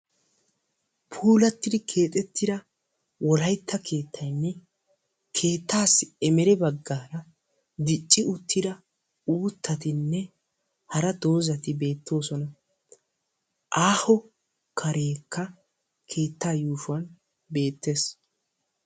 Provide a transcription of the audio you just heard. Puulatidi keexetida wolaytta keettaynne keettaassi emere baggaara dicci uttida uuttatinne hara dozzati beettoosona . Aaho kareekka keettaa yuushshuwan beettees.